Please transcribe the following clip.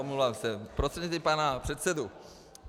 Omlouvám se, prostřednictvím pana předsedy.